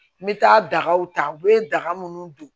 N bɛ taa dagaw ta u bɛ daga minnu don